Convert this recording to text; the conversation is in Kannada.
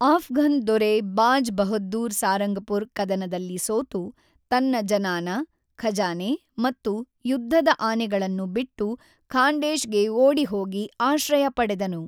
ಆಫ್ಘನ್ ದೊರೆ ಬಾಜ್ ಬಹದ್ದೂರ್ ಸಾರಂಗಪುರ್ ಕದನದಲ್ಲಿ ಸೋತು, ತನ್ನ ಜನಾನ, ಖಜಾನೆ ಮತ್ತು ಯುದ್ಧದ ಆನೆಗಳನ್ನು ಬಿಟ್ಟು ಖಾಂಡೇಶ್ ಗೆ ಓಡಿಹೋಗಿ ಆಶ್ರಯ ಪಡೆದನು.